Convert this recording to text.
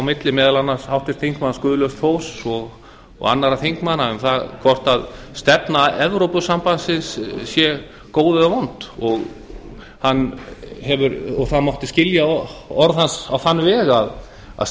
á milli meðal annars háttvirtur þingmaður guðlaugs þórs og annarra þingmanna hvort stefna evrópusambandsins sé góð eða vond það mátti skilja orð hans á þann veg að